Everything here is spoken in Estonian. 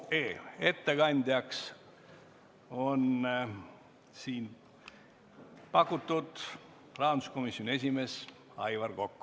Ettekandjaks on rahanduskomisjoni esimees Aivar Kokk.